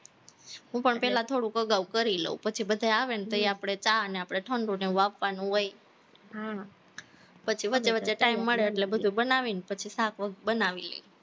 હું પણ પેલા થોડુંક અગાવ કરી લવ, પછી બધા આવે ને તઈ આપણે ચા ને આપણે ઠંડુને એવું આપવાનું હોય પછી વચ્ચે-વચ્ચે time મળે એટલે બધું બનાવીને પછી શાક બનાવીએ